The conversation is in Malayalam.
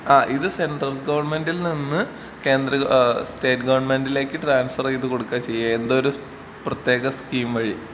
ആഹ് ഇത് സെൻട്രൽ ഗവണ്മെന്റിൽ നിന്ന് കേന്ദ്ര ഏഹ് സ്റ്റേറ്റ് ഗവണ്മെന്റ്ലേക്ക് ട്രാൻസ്ഫർ ചെയ്ത് കൊടുക്കാ ചെയ്യാ എന്തോ ഒരു പ്രത്യേക സ്കീം വഴി.